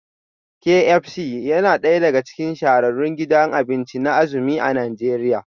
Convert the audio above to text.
Kay Ep C yana daya daga cikin shahararrun gidajen abinci na azumi a Najeriya